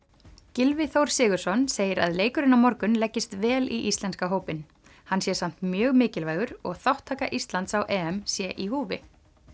Gylfi Þór Sigurðsson segir að leikurinn á morgun leggist vel í íslenska hópinn hann sé samt mjög mikilvægur og þátttaka Íslands á sé í húfi